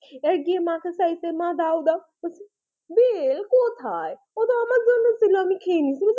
এবার গিয়ে মাকে চাইছে মা দাও দাও বলছে বেল কোথায়? ও তো আমার জন্য ছিল আমি খেয়ে নিয়েছি।